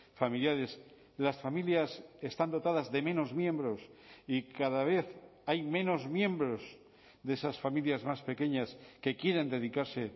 familiares las familias están dotadas de menos miembros y cada vez hay menos miembros de esas familias más pequeñas que quieren dedicarse